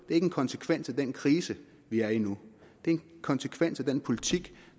en konsekvens af den krise vi er i nu det er en konsekvens af den politik